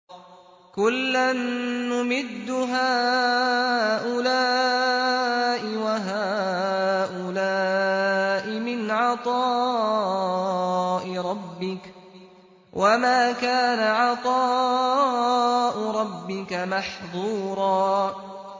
كُلًّا نُّمِدُّ هَٰؤُلَاءِ وَهَٰؤُلَاءِ مِنْ عَطَاءِ رَبِّكَ ۚ وَمَا كَانَ عَطَاءُ رَبِّكَ مَحْظُورًا